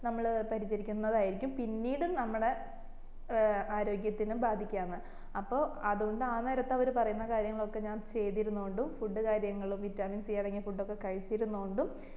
നമ്മള് പരിചരിക്കിന്ന ആയിരിക്കും പിന്നീടും നമ്മടെ ഏർ ആര്യോഗത്തിനും ബാധിക്കാന്ന് അപ്പൊ അതോണ്ട് ആ നേരത്തു് അവര് പറയുന്ന കാര്യങ്ങളൊക്കെ ഞാൻ ചെയ്തിരുന്നോണ്ടും food കാര്യങ്ങളു vitamin c അടങ്ങിയ food ഒകെ കഴിച്ചിരുന്നോണ്ടും